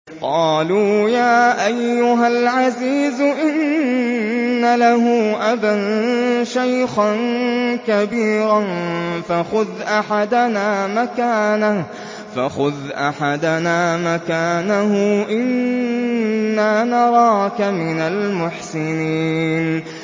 قَالُوا يَا أَيُّهَا الْعَزِيزُ إِنَّ لَهُ أَبًا شَيْخًا كَبِيرًا فَخُذْ أَحَدَنَا مَكَانَهُ ۖ إِنَّا نَرَاكَ مِنَ الْمُحْسِنِينَ